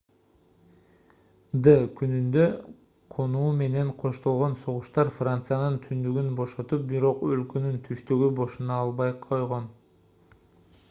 д-күнүндө конуу менен коштолгон согуштар франциянын түндүгүн бошотуп бирок өлкөнүн түштүгү бошоно албай койгон